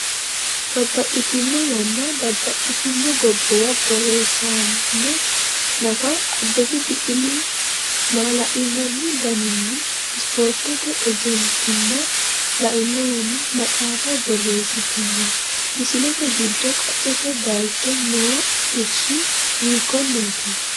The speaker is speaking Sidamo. Babbaxxitino yanna babbaxxitino gobbuwa borreessaano nafa Abbebe Biqilihu maala’linanni dandiinna ispoortete ejjeettimma lainohunni maxaafa borreessitino, Misillate giddo qaccete bayicho noo irshi hiikkonneeti?